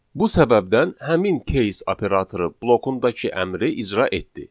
Bu səbəbdən həmin case operatoru blokundakı əmri icra etdi.